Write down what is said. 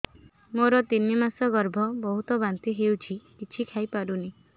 ମୋର ତିନି ମାସ ଗର୍ଭ ବହୁତ ବାନ୍ତି ହେଉଛି କିଛି ଖାଇ ପାରୁନି